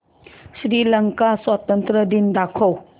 श्रीलंका स्वातंत्र्य दिन दाखव